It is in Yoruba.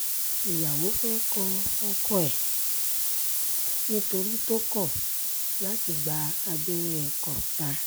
ìyàwó fẹ́ẹ́ kọ́ ọkọ ẹ̀ nítorí tó kọ̀ láti gba abẹ́rẹ́ kọ́ńtà